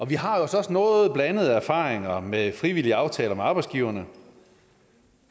vi har altså også noget blandede erfaringer med frivillige aftaler med arbejdsgiverne